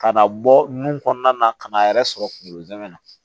Ka na bɔ nun kɔnɔna na ka n'a yɛrɛ sɔrɔ kungolo zɛmɛ na